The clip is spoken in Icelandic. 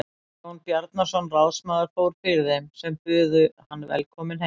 Jón Bjarnason ráðsmaður fór fyrir þeim sem buðu hann velkominn heim.